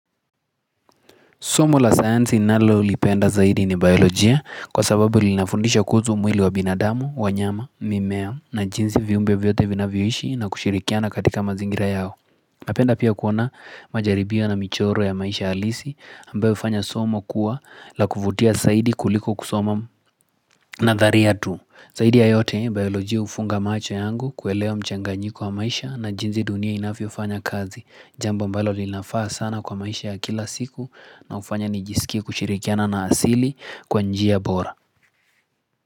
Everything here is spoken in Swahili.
Somo la sayansi ninalolipenda zaidi ni biolojia kwa sababu linafundisha kuzu mwili wa binadamu, wanyama, mimea na jinsi viumbe vyote vinavyoishi na kushirikiana katika mazingira yao. Napenda pia kuona majaribia na michoro ya maisha alisi ambayo ufanya somo kuwa la kufutia saidi kuliko kusoma nadharia tu. Zaidi ya yote, bioloji ufunga macho yangu kuelewa mchanganyiko wa maisha na jinsi dunia inafiofanya kazi. Jambo ambalo linafaa sana kwa maisha ya kila siku na hufanya nijisikie kushirikiana na asili kwa njia bora.